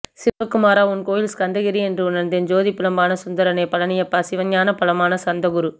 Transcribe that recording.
சிவகுமரா உன்கோயில் ஸ்கந்தகிரி என்றுணர்ந்தேன்ஜோதிப் பிழம்பான சுந்தரனே பழனியப்பாசிவஞானப் பழமான ஸ்கந்தகுரு